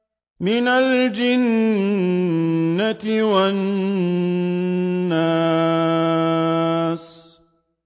مِنَ الْجِنَّةِ وَالنَّاسِ